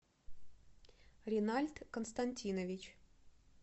ренальд константинович